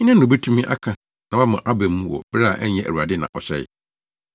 Hena na obetumi aka na wama aba mu wɔ bere a ɛnyɛ Awurade na ɔhyɛe?